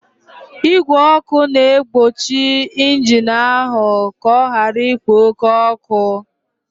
Igwe ọkụ na-egbochi injin ahụ ka ọ ghara ikpo oke ọkụ